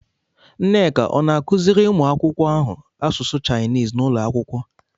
Nneka ọ̀ na-akụziri ụmụ akwụkwọ ahụ asụsụ Shainis n'ụlọ akwụkwọ?